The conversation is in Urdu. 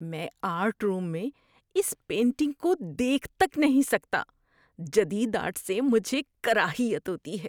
میں آرٹ روم میں اس پینٹنگ کو دیکھ تک نہیں سکتا، جدید آرٹ سے مجھے کراہیت ہوتی ہے۔